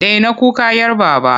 Daina kuka 'yar Baba!